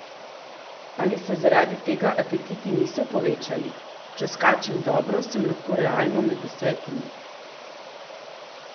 A se zaradi tega apetiti niso povečali: "Če skačem dobro, sem lahko realno med desetimi.